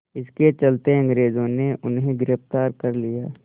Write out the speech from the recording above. इसके चलते अंग्रेज़ों ने उन्हें गिरफ़्तार कर लिया